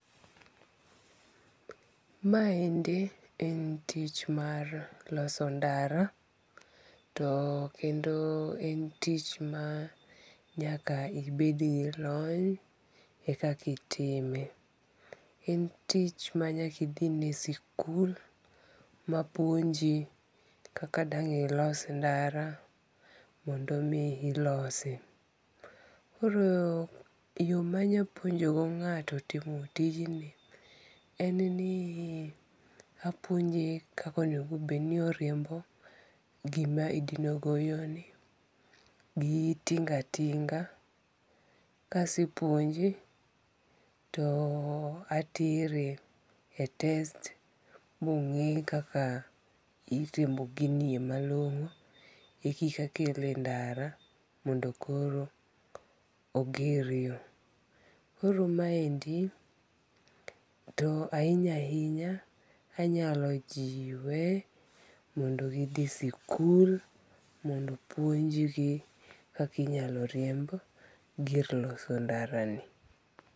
Maende en tich mar loso ndara to kendo en tich ma nyaka ibed gi lony eka itime, en tich ma nyaka ithine e sikul mapuonji kaka dang' ilos ndara mondo min ilosi, koro e yo manya puonjogo nga'to timo tijni en ni apuonje kaka onego bed ni oriembo gima idinogo yoni gi tinga tinga, kasepuonje to atere e test monge' kaka iriembo ginie malongo' ekika akele e ndara mondo koro oger yo, koro maendi to ahinya hinya anyalo jiwe mondo githi sikul mondo opunjgi kaka inyalo riemb gir loso ndarani.